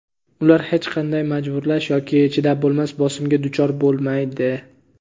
ular hech qanday majburlash yoki chidab bo‘lmas bosimga duchor bo‘lmaydi.